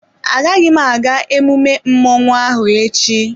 Agaghị m aga emume mmọnwụ ahụ echi.